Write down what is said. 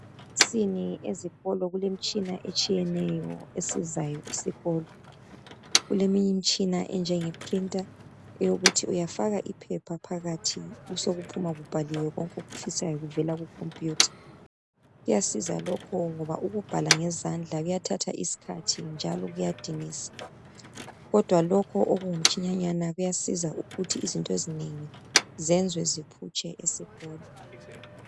Emahofisini ezikolo kulemitshina etshiyeneyo esizayo isikolo. Kuleminye imitshina enjengeprinter eyokuthinuyafaka iphepha phakathi besokuphuma kubhaliwe konke okufisayo kuvela kukhompiyutha. Kuyasiza lokho ngoba ukubhala ngezandla kuyathatha isikhathi njalo kuyadinisa kodwa lokhu okungumtshinanyana kuyasiza ukuthi izinto ezinengi zenzwe ziphutshe esikolo.